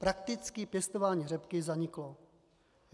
Prakticky pěstování řepky zaniklo.